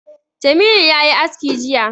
Jamilu ya yi aski jiya